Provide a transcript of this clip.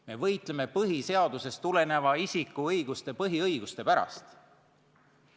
Me võitleme põhiseadusest tulenevate isiku põhiõiguste eest.